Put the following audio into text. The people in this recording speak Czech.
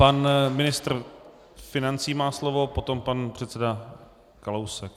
Pan ministr financí má slovo, potom pan předseda Kalousek.